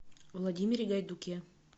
владимире гайдуке